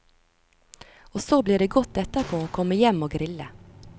Og så blir det godt etterpå å komme hjem og grille.